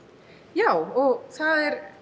já og það er